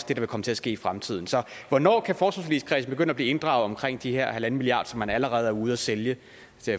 der vil komme til at ske i fremtiden så hvornår kan forsvarsforligskredsen begynde at blive inddraget omkring de her halvanden milliard som man allerede er ude at sælge